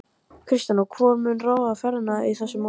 Kristján: Og hvor mun ráða ferðinni í þessu máli?